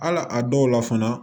Hal'a dɔw la fana